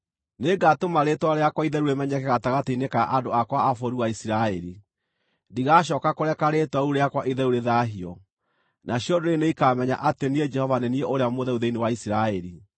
“ ‘Nĩngatũma rĩĩtwa rĩakwa itheru rĩmenyeke gatagatĩ-inĩ ka andũ akwa a bũrũri wa Isiraeli. Ndigacooka kũreka rĩĩtwa rĩu rĩakwa itheru rĩthaahio, nacio ndũrĩrĩ nĩikamenya atĩ niĩ Jehova nĩ niĩ Ũrĩa Mũtheru thĩinĩ wa Isiraeli.